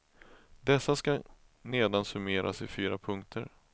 Dessa skall nedan summeras i fyra punkter.